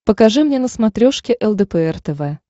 покажи мне на смотрешке лдпр тв